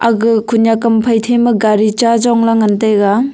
ga khunyak ham phai thema gari chajongla ngan taiga.